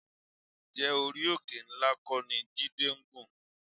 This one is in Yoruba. Ǹjẹ́ orí òkè ńlá kọ́ ni Jídé ń gùn?